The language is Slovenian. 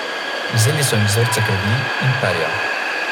Vzeli so jim vzorce krvi in perja.